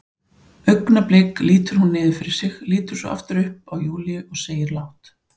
Augnablik lítur hún niður fyrir sig, lítur svo aftur upp og á Júlíu, segir lágt